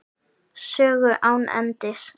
Sögu án endis.